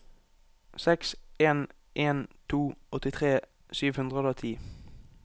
seks en en to åttitre sju hundre og ti